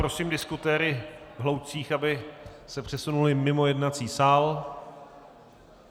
Prosím diskutéry v hloučcích, aby se přesunuli mimo jednací sál.